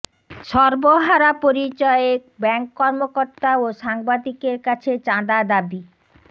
সর্বহারা পরিচয়ে ব্যাংক কর্মকর্তা ও সাংবাদিকের কাছে চাঁদা দাবি